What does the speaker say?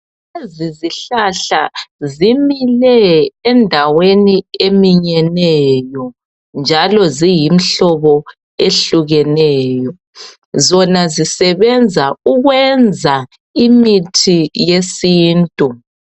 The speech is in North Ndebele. Lezihlahla zimile endaweni eminyeneyo njalo ziyimhlobo ehlukeneyo zona zisebenza ukwenza imithi yesintu.